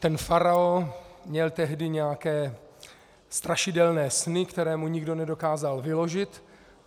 Ten faraon měl tehdy nějaké strašidelné sny, které mu nikdo nedokázal vyložit.